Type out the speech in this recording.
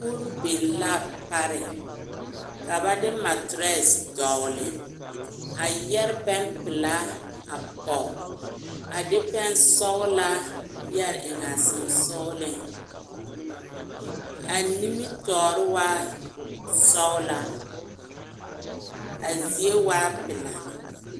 Kogro biŋ l,a pareŋ ka ba de materɛse dɔgle a yɛre pɛmpelaa a pɔge a de pɛnsɔglaa yɛre eŋ a sensogleŋ a nimitɔɔre waa sɔglaa a zie waa pelaa.